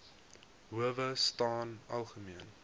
howe staan algemeen